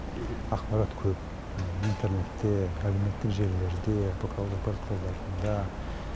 ақпарат көп интернетте әлеуметтік желілерде бұқаралық ақпарат құралдарында